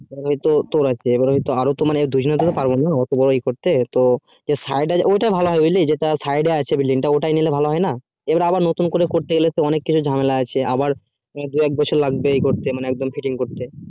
এবার হয় তো তোর আছে আরো তো মানে বা এবার তো এত বোরো সেটাই ভালো হবে যেটা side এ আছে এবার আবার নতুন করে করতে গেলে ঝামলা আছে আবার দুই এক বছর লাগবে করতে মানে এক বাড়ে fitting করতে